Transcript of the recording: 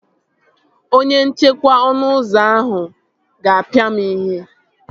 Onye nchekwa ọnụ ụzọ ahụ a ga-apia m ihe?